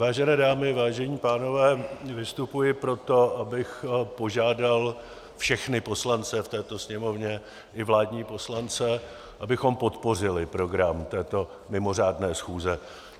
Vážené dámy, vážení pánové, vystupuji proto, abych požádal všechny poslance v této Sněmovně, i vládní poslance, abychom podpořili program této mimořádné schůze.